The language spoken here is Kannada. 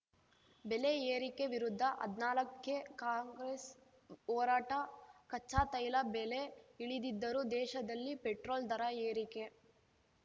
ಬೆಲೆ ಏರಿಕೆ ವಿರುದ್ಧ ಹದ್ನಾಲಕ್ಕೆ ಕಾಂಗ್ರೆಸ್‌ ಹೋರಾಟ ಕಚ್ಚಾತೈಲ ಬೆಲೆ ಇಳಿದಿದ್ದರೂ ದೇಶದಲ್ಲಿ ಪೆಟ್ರೋಲ್‌ ದರ ಏರಿಕೆ